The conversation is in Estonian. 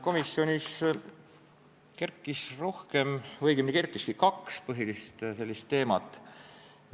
Komisjonis kerkis kaks teemat.